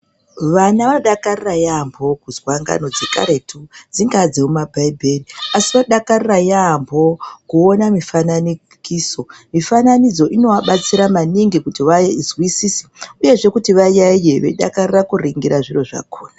Vana dakarira yaampo kuzwa ngano dzekaretu dzingaa dzemumabhaibheri asi vodakarira yaampo kuona mufananikiso mufananidzo inoabatsira maningi kuti vazwisise uyezve kuti vayaiye veidakarira kuringira zviro zvakhona.